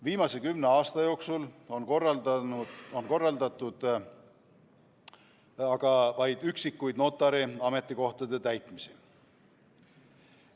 Viimase kümne aasta jooksul on korraldatud aga vaid üksikuid notari ametikohtade täitmisi.